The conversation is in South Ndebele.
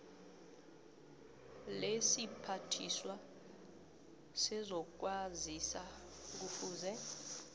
lesiphathiswa sezokwazisa kufuze